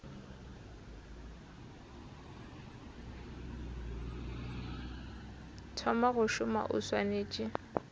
thoma go šoma o swanetše